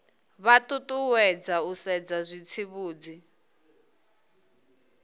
vha ṱuṱuwedzwa u sedza zwitsivhudzi